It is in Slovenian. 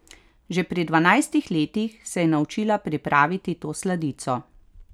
Že pri dvanajstih letih se je naučila pripraviti to sladico.